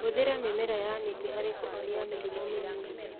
Hũthĩra mĩmera ya mĩtĩ harĩ kũhonia mĩrimũ mĩnini